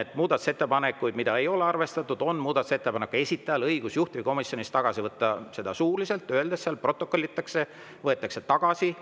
et muudatusettepanekuid, mida ei ole arvestatud, on muudatusettepanekute esitajal õigus juhtivkomisjonis tagasi võtta suuliselt, öeldes seal – see protokollitakse –, et võetakse tagasi.